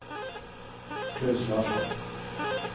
Klaus Larsson